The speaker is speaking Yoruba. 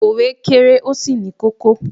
òwe kere, o sí ní kókó